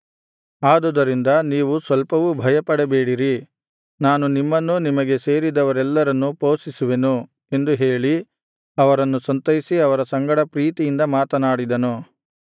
ಆದುದರಿಂದ ನೀವು ಸ್ವಲ್ಪವೂ ಭಯಪಡಬೇಡಿರಿ ನಾನು ನಿಮ್ಮನ್ನೂ ನಿಮಗೆ ಸೇರಿದವರೆಲ್ಲರನ್ನೂ ಪೋಷಿಸುವೆನು ಎಂದು ಹೇಳಿ ಅವರನ್ನು ಸಂತೈಸಿ ಅವರ ಸಂಗಡ ಪ್ರೀತಿಯಿಂದ ಮಾತನಾಡಿದನು